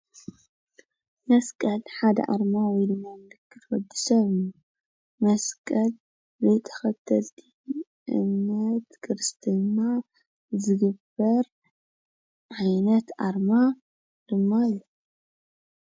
መስቀል ሓደ ኣርማ ወይ ድማ ምልክት ወዲ ሰብ እዩ፡፡ መስቀል ብተኸተልቲ እምነት ክርስትና ዝግበር ዓይነት ኣርማ ድማ እዩ፡፡